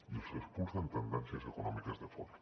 i els expulsen tendències econòmiques de fora